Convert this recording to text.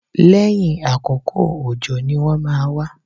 Lẹ́yìn àkókò òjò ni wọ́n máa wá